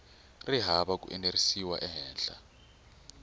ri hava ku enerisiwa ehenhla